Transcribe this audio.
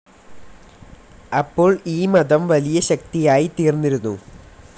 അപ്പോൾ ഈ മതം വലിയ ശക്തിയായി തീർന്നിരുന്നു.